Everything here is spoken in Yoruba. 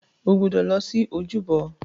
O gbọdọ̀ lọ sí ojúbọ.